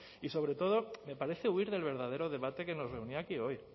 y sobre todo me parece huir del verdadero debate que nos reunía aquí hoy